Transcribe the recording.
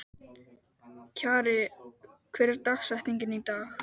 Kjarri, hver er dagsetningin í dag?